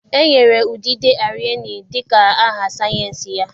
E nyere udide Arenie dị ka aha sayensị ya.